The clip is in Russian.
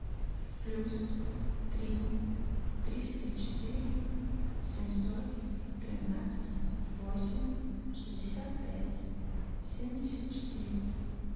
плюс три триста четыре семьсот тринадцать восемь шестьдесят пять семьдесят четыре